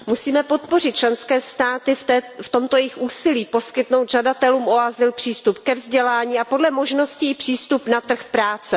Musíme podpořit členské státy v tomto jejich úsilí, poskytnout žadatelům o azyl přístup ke vzdělání a podle možností i přístup na trh práce.